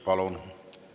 Palun!